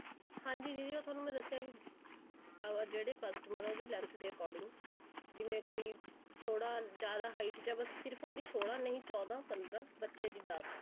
ਹਾਂਜੀ ਦੀਦੀ ਉਹ ਤੁਹਾਨੂੰ ਮੈਂ ਦੱਸਿਆ ਕਿ ਅਹ ਜਿਹੜੇ customer ਨੇ ਉਹਦੀ length ਦੇ according ਜਿਵੇਂ ਕੋਈ ਥੋੜਾ ਜਿਆਦਾ height ਚ ਐ ਉਹਦੀ ਬੱਸ ਸੋਲਾਂ ਨਹੀਂ ਚੋਦਾ ਪੰਦਰਾਂ ਬੱਚੇ ਦੀ ਦਸ